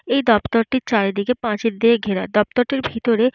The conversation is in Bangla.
এই দপ্তরটির চারিদিকে পাঁচিল দিয়ে ঘেরা। দপ্তরটির ভিতরে --